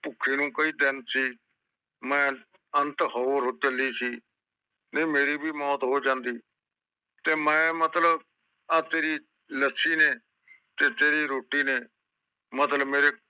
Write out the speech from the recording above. ਭੂਕੇ ਨੂੰ ਕਈ ਦਿਨ ਸੀ ਮੈਂ ਅੰਤ ਹੋ ਚਲੀ ਸੀ ਨਾਈ ਮੇਰੀ ਵੀ ਮੌਤ ਹੋ ਜਾਂਦੀ ਮੈਂ ਮਤਲਬਤੇਰੀ ਆ ਤੇਰੀ ਲੱਸੀ ਨੇ ਤੇ ਤੇਰੀ ਲੱਸੀ ਨੇ ਮਤਲਬ ਮੇਰੇ